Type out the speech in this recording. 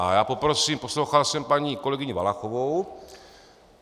A já poprosím - poslouchal jsem paní kolegyni Valachovou.